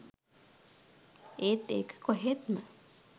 ඒත් ඒක කොහෙත්ම